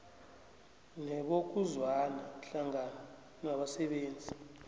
nebokuzwana hlangana nabasebenzi